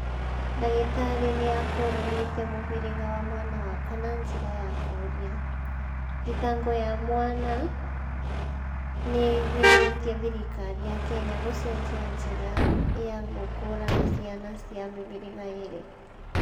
"Dagĩtarĩ nĩakũranĩte mũhĩrĩga wa mwana wakwa na njĩra ya kũria," thitango ya mwana nĩĩiguithĩtie thirikari ya Kenya gũcenjia njĩra ya gũkũrana ciana cĩa mĩhĩrĩga ĩrĩ